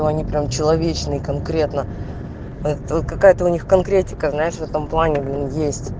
они прям человечные конкретно вот какая-то у них конкретика знаешь в этом плане блин есть